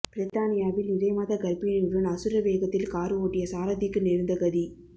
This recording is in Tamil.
பிரித்தானியாவில் நிறைமாத கர்ப்பிணியுடன் அசுர வேகத்தில் கார் ஓட்டிய சாரதிக்கு நேர்ந்த கதி